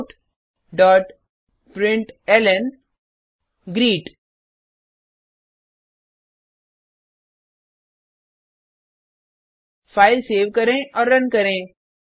systemoutप्रिंटलन file save करें और run करें